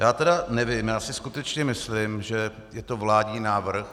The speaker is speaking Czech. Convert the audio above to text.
Já tedy nevím, já si skutečně myslím, že je to vládní návrh.